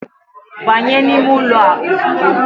Banye n'ime ụlọ a ozugbo.